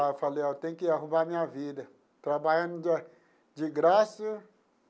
Ah falei ó, tenho que arrumar minha vida, trabalhando de de graça.